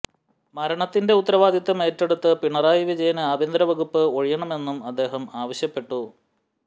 മരണത്തിന്റെ ഉത്തരവാദിത്വം ഏറ്റെടുത്ത് പിണറായി വിജയന് ആഭ്യന്തര വകുപ്പ് ഒഴിയണമെന്നും അദ്ദേഹം ആവശ്യപ്പെട്ടു